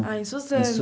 Ah, em Suzano.